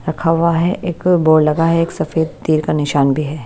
रखा हुआ है एक बोर्ड लगा है एक सफेद तीर का निशान भी है।